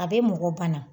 A bɛ mɔgɔ bana